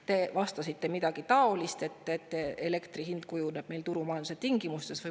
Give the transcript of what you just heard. Te vastasite midagi taolist, et elektri hind kujuneb meil turumajanduse tingimustes.